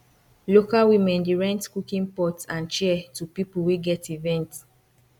local women dey rent cooking pot and chair to people wey get event